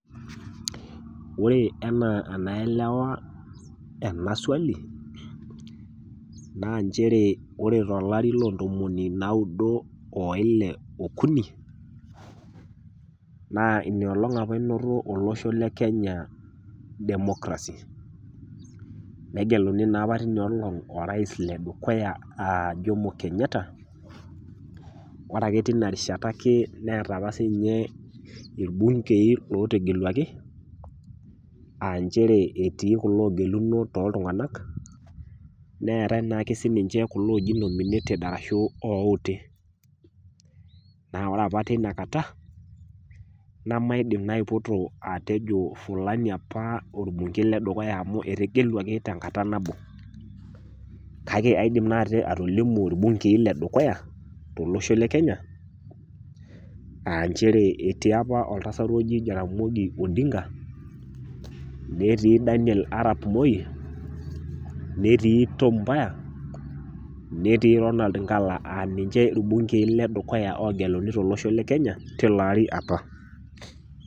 Ore enaa enaelewa ena swali, naa nchere naa ore to olari loo intomonino naudo o Ile okuni, naa Ina olong' opa einoto olosho le Kenya democracy. Negeluni naa opa te Ina olong' orais Le dukuya a Jomo Kenyatta. Ore ake teina rishata ake neata opa sininye ilbungei lotageluaki, a nchere etii kulo ogeluno tiatua iltung'ana, neatai naake siininye kulo loojoi nominated ashu ilouti. Naa opa teina kata, nemaidim naa aipotuo ajo fulani opa olbungei le dukuya amu etegeluaki tenkata nabo, kake aidim naa atolimu ilbungei le dukuya tolosho le Kenya aa nchere etii opa oltasat oji jaramogi oginga odinga, netii Daniel Arap Moi, netii Tom mboya, netii Ronald Ngala aa ninche ilbungei le dukuya ogira arikisho tolosho le Kenya te ilo apa opa.